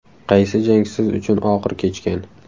Qaysi jang siz uchun og‘ir kechgan?